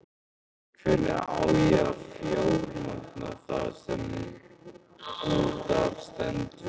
Hvernig á þá að fjármagna það sem út af stendur?